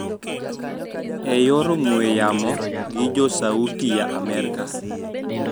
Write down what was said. E yor ong`we yamo gi jo Sauti ya Amerika